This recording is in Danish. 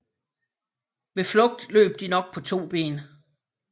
Ved flugt løb de nok på to ben